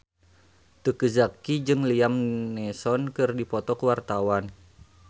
Teuku Zacky jeung Liam Neeson keur dipoto ku wartawan